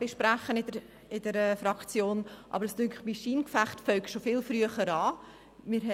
Aber es scheint mir, dass das Scheingefecht schon viel früher angefangen hat.